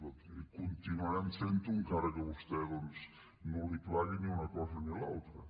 doncs miri continuarem fent ho encara que a vostè no li plagui ni una cosa ni l’altra